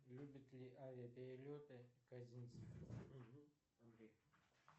любит ли авиаперелеты казинцев угу андрей